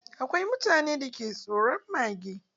Akwai mutanen da ke tsoron mage